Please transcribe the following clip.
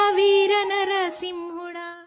हे वीर नरसिंह